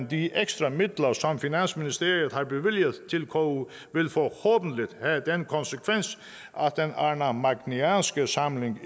de ekstra midler som finansministeriet har bevilliget til ku vil forhåbentligt at den arnamagnæanske samling